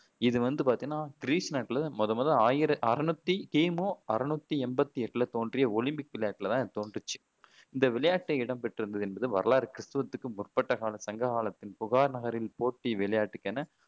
இது வந்து பாத்தீங்கன்னா கிரீஸ் நாட்டில முதன்முதல்ல ஆயிர அறுநூத்தி கிமு அறுநூத்தி எண்பத்தி எட்டுல தோன்றிய ஒலிம்பிக் விளையாட்டில தான் தோன்றுச்சு இந்த விளையாட்டு இடம் பெற்றிருந்தது என்பது வரலாறு கிறித்துவுக்கு முற்பட்ட காலத் சங்ககாலத்தில் புகார் நகரில் போட்டி விளையாட்டுக்கென